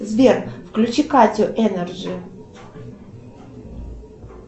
сбер включи катю энерджи